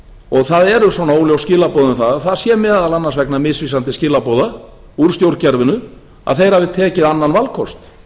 og það eru svona óljós skilaboð um að það sé meðal annars vegna misvísandi skilaboða úr stjórnkerfinu að þeir hafi tekið annan valkost